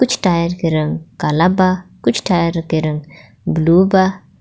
कुछ टायर के रंग काला बा कुछ टायर के रंग ब्लू बा.